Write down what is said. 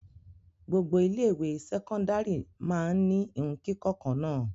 Gbogbo ilé-ìwé sẹ́kọ́ndárì máa ń ní ìhun kíkọ́ kan náà.